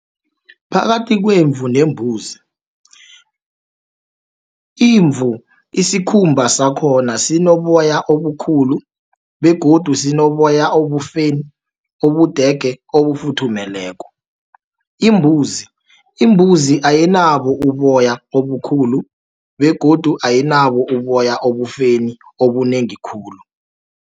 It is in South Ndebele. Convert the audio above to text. Phakathi kwemvu nembuzi, imvu isikhumba sakhona sinoboya obukhulu, begodu sinoboya obufeni, ubudege obufuthumeleko. Imbuzi ayinabo uboya obukhulu begodu ayinabo uboya obufeni obunengi khulu.